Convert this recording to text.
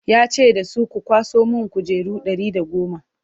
ya ce da su 'ku kwaso min kujeru Ɗari da goma!"